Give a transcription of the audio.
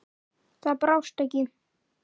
Það brást ekki.